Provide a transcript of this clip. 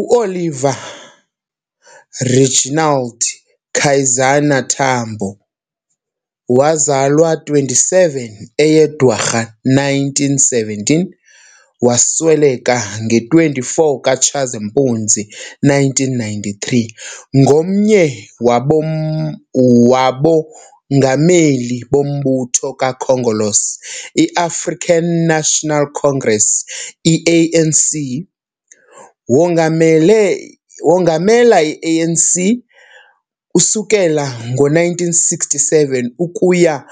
U-Oliver Reginald Kaizana Tambo, wazalwa 27 eyeDwarha 1917 wasweleka nge-24 Tshazimpuzi 1993, ngomnye wabo wabongameli bombutho kaKhongolose, i-African National Congress, i-ANC. Wongamele Wongamela i-ANC, usukela ngo-1967 ukuya